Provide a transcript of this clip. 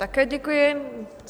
Také děkuji.